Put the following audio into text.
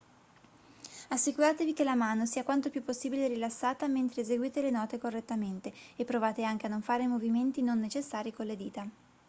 assicuratevi che la mano sia quanto più possibile rilassata mentre eseguite le note correttamente e provate anche a non fare movimenti non necessari con le dita